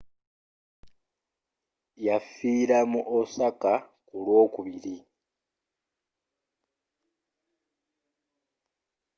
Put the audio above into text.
yafiira mu osaka ku lw'okubiri